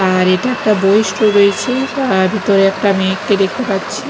আর এটা একটা বই স্টোর রয়েছে আর ভিতরে একটা মেয়েকে দেখতে পাচ্ছি।